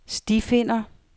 stifinder